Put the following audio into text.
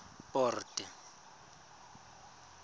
port